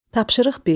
Tapşırıq bir.